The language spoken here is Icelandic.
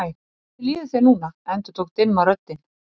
Hvernig líður þér núna endurtók dimma röddin.